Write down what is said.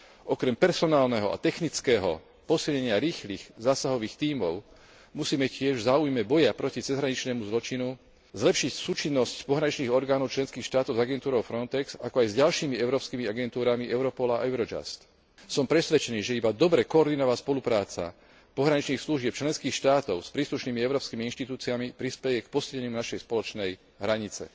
Okrem personálneho a technického posilnenia rýchlych zásahových tímov musíme tiež v záujme boja proti cezhraničnému zločinu zlepšiť súčinnosť pohraničných orgánov členských štátov s agentúrou Frontex, ako aj s ďalšími európskymi agentúrami Europol a Eurojust. Som presvedčený, že iba dobre koordinovaná spolupráca pohraničných služieb členských štátov s príslušnými európskymi inštitúciami prispeje k posilneniu našej spoločnej hranice.